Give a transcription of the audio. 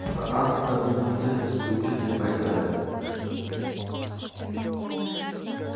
Aslida bu quti isituvchi deb aytiladi.